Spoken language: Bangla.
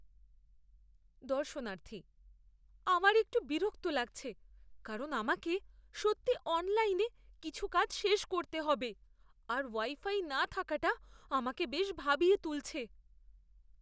দর্শনার্থী "আমার একটু বিরক্ত লাগছে কারণ আমাকে সত্যিই অনলাইনে কিছু কাজ শেষ করতে হবে, আর ওয়াই ফাই না থাকাটা আমাকে বেশ ভাবিয়ে তুলছে।"